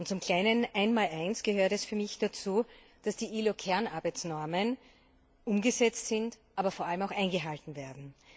Zum kleinen Einmaleins gehört für mich, dass die ILO Kernarbeitsnormen umgesetzt sind, aber vor allem auch eingehalten werden.